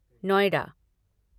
Noida